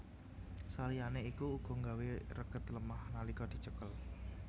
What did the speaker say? Saliyané iku uga nggawé reged lemah nalika dicekel